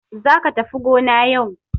Za ka tafi gona yau.